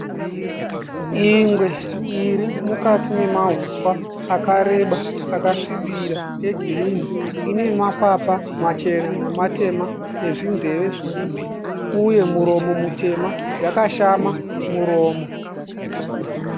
Ingwe iri mukati memahuswa akareba akasvibira egirinhi. Ine makwapa machena nematema nezvinzeve zvidiki uye muromo mutema. Yakashama muromo.